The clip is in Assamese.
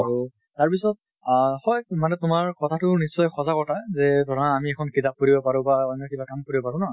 আৰু তাৰ পিছত আহ হয় মানে তোমাৰ কথা টো নিশ্চয় সঁচা কথা, যে ধৰা আমি এখন কিতাপ পঢ়িব পাৰো বা অন্য় কিবা কাম কৰিব পাৰো ন?